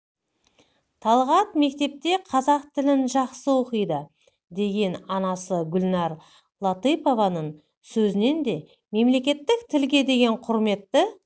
талғат мектепте қазақ тілін жақсы оқиды деген анасы гүлнар латыпованың сөзінен де мемлекеттік тілге деген құрметті